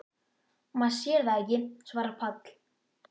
Maður sér það ekki, svarar Páll.